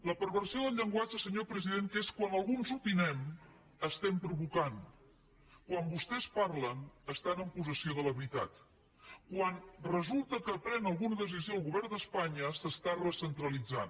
la perversió del llenguatge senyor president que és quan alguns opinem provoquem quan vostès parlen estan en possessió de la veritat quan resulta que pren alguna decisió el govern d’espanya es recentralitza